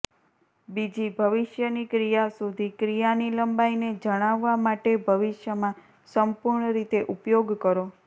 બીજી ભવિષ્યની ક્રિયા સુધી ક્રિયાની લંબાઈને જણાવવા માટે ભવિષ્યમાં સંપૂર્ણ રીતે ઉપયોગ કરો